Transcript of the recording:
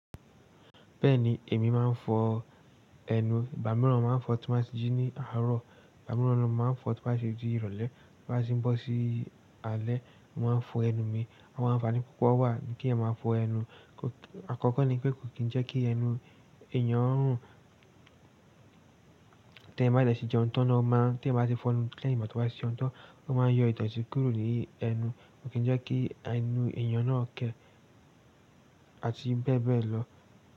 Bẹ́ẹ̀ni, èmi máa ń fọ ẹnu. Ìgbà mìíràn máa ń fọ̀ọ́ tí n bá ti jí ní àárọ̀, ìgbà mìíràn náà mo máa ń fọ̀ọ́ tó bá ṣe di ìrọ̀lẹ́ tó bá ṣe ń bọ́ sí alẹ́, mo máa ń fọ ẹnu mi. Àwọn àǹfààní púpọ̀ wà kéèyàn máa fọ ẹnu. Àkọ́kọ́ ni pé kò kí ń jẹ́ kí ẹnu èèyàn rùn, téèyàn bá dẹ̀ ti jẹun tán náà ó máa ń, téèyàn bá ti fọ ẹnu lẹ́yín ìgbà tó bá ti jẹun tán, ó máa ń yọ ìdọ̀tí kúrò ní ẹnu, kò kí ń jẹ́ kí ẹnu èèyàn náà kẹ́ àti bẹ́ẹ̀ bẹ́ẹ̀ lọ.